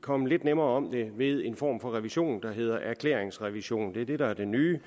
komme lidt nemmere om det ved en form for revision der hedder erklæringsrevision det er det der er det nye